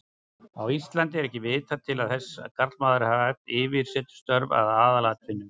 Á Íslandi er ekki vitað til þess að karlmaður hafi haft yfirsetustörf að aðalatvinnu.